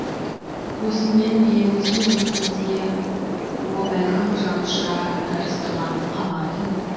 өзіммен бе өзгемен де о бәлкім жанұшыра жарыстырған қамар түн